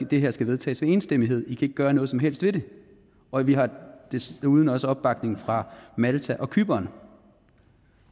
det her skal vedtages med enstemmighed i kan ikke gøre noget som helst ved det og vi har desuden også opbakning fra malta og cypern